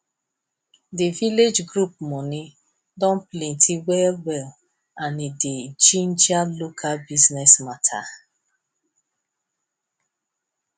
di village group money don plenty well well and e dey ginger local business matter